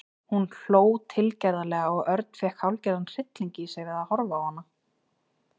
Hún hló tilgerðarlega og Örn fékk hálfgerðan hrylling í sig við að horfa á hana.